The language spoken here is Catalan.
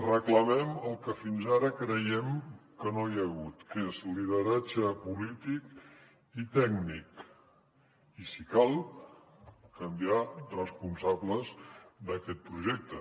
reclamem el que fins ara creiem que no hi ha hagut que és lideratge polític i tècnic i si cal canviar responsables d’aquest projecte